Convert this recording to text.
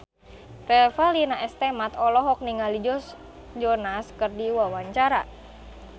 Revalina S. Temat olohok ningali Joe Jonas keur diwawancara